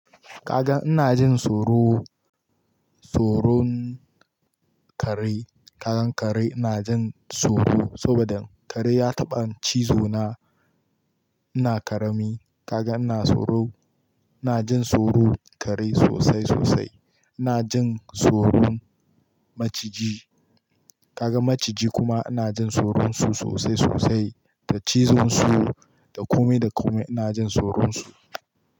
Ka gan ina jin tsoro, tsoron kare. Kaga kare ina jin tsoro saboda kare ya taɓa cizo na, ina karami. Kaga ina tsoro, ina jin tsoron kare sosai sosai. Ina jin tsoron maciji. Kaga maciji kuma ina jin tsoron su sosai sosai da cizon su, da kome da kome ina jin soron su.